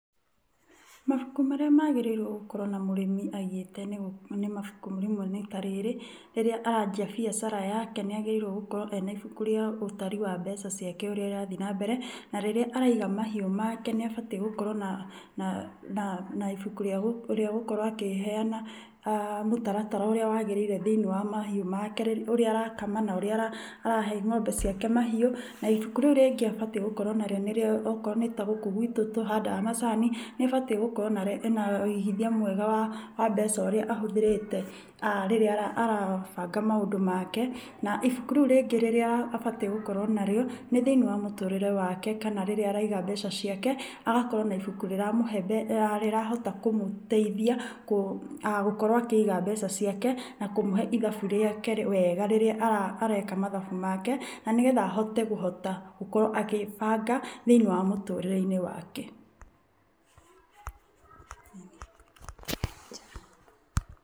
Mabuku marĩa magĩriirwo gũkorwo na mũrimi aigĩte nĩ rĩmwe nĩ ta rĩrĩ, rĩrĩa aranjia biacara yake nĩ agĩrĩirwo gukorwo ena ibuku rĩa ũtari wa mbeca ciake ũrĩa irathiĩ na mbere. Na rĩrĩa araiga mahiũ make nĩ abatiĩ gũkorwo na ibuku rĩagũkorwo akĩheana mũtaratara ũrĩa wagĩrĩire thĩinĩ wa mahiũ make ũrĩa rakama na ũrĩa arahe ng'ombe ciake mahiũ. Na ibuku rĩu rĩngĩ abatiĩ gũkorwo narĩo okorwo nĩ ta guku gwitũ tũhandaga macani, nĩ abatiĩ gũkorwo na wigithia mwega wa mbeca ũrĩa ahũthĩrĩte rĩrĩa arabanga maundũ make. Na ibuku rĩu rĩngĩ abatiĩ gũkorwo narĩo nĩ thiinĩ wa mũturĩre wake kana rĩria araiga mbeca ciake agakorwo na ibuku rĩrahota kũmũteithia gũkorwo akĩiga mbeca ciake na kumũhe ithabu riake wega wega rĩrĩa areka mathabu make. Na nĩ getha ahote kũhota gũkorwo akibanda thĩinĩ wa mũtũrĩ-inĩ wake.